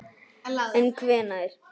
En hvenær?